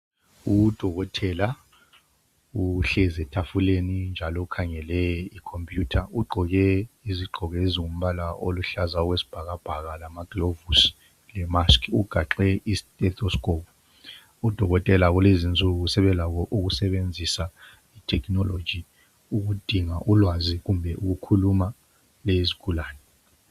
Udokotela uhlezi ethafuleni ,njalo ukhangele ikhompuyutha. Ugqoke izigqoko ezombala oluhlaza okwesibhakabhaka lamagilovisi lemask .Ugaxe I stethoscope odokotela kulezinsuku sebelabo ukusebenzisa itekinoloji ukudinga ulwazi kumbe ukukhuluma lezigulane.